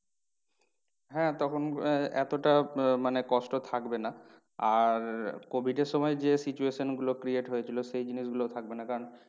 হ্যাঁ তখন আহ এতটা আহ মানে কষ্ট থাকবে না। আর covid এর সময় যে situation গুলো create হয়েছিল সেই জিনিস গুলো থাকবে না। কারণ